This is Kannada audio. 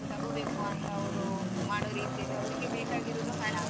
ಮತ್ತೆ ತಗೋಬೇಕು ಅಂತ ಅವ್ರು ಮಾಡೋ ರೀತಿಯಲ್ಲಿ ಅವ್ರಿಗೆ ಬೇಕಾಗಿರೋದು ಹಣ.